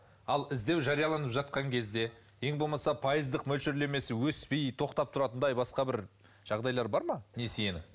ал іздеу жарияланып жатқан кезде ең болмаса пайыздық мөлшерлемесі өспей тоқтап тұратындай басқа бір жағдайлары бар ма несиенің